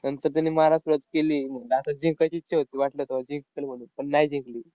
नंतर त्यांनी माराया सुरुवात केली म्हणून. नायतर जिंकायची इच्छा होती, वाटलं तेव्हा जिंकतील म्हणून. पण नाही जिंकली.